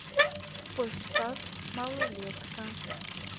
поставь малолетка